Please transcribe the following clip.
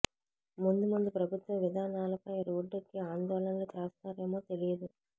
ముందు ముందు ప్రభుత్వ విధానాలపై రోడ్డెక్కి ఆందోళనలు చేస్తారేమో తెలియదు